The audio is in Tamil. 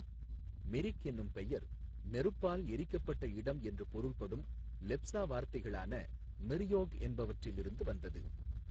மிரிக் எனும் பெயர் நெருப்பால் எரிக்கப்பட்ட இடம் என்று பொருள்படும் லெப்சா வார்த்தைகளான மிர் யோக் என்பவற்றில் இருந்து வந்தது.